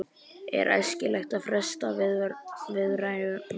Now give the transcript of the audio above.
Er æskilegt að fresta viðræðum?